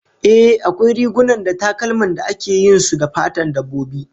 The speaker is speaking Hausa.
Ehh, akwai rigunan da takalman da ake yin su da fatan dabbobi